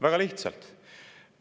Väga lihtsalt!